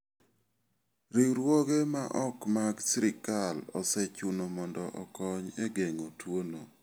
Riwruoge maok mag sirkal osechuno mondo okony e geng'o tuono.